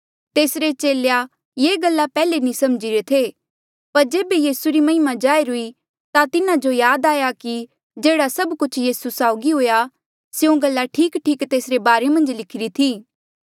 तेसरे चेले ये गल्ला पैहले नी समझीरे थे पर जेबे यीसू री महिमा जाहिर हुई ता तिन्हा जो याद आया कि जेह्ड़ा सब कुछ यीसू साउगी हुआ स्यों गल्ला ठीकठीक तेसरे बारे मन्झ लिखिरी थी